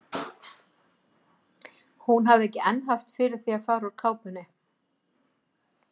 Hún hafði ekki enn haft fyrir því að fara úr kápunni.